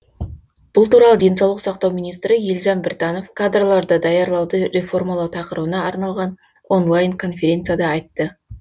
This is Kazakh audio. бұл туралы денсаулық сақтау министр елжан біртанов кадрларды даярлауды реформалау тақырыбына арналған онлайн конференцияда айтты